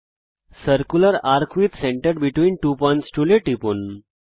circular arc with centre between two points এ টিপুন